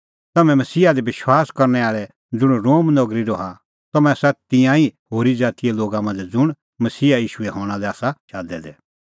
तम्हैं मसीहा दी विश्वास करनै आल़ै ज़ुंण रोम नगरी रहा तम्हैं आसा तिन्नां ई होरी ज़ातीए लोगा मांझ़ै ज़ुंण मसीहा ईशूए हणां लै आसा शादै दै